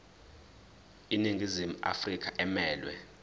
iningizimu afrika emelwe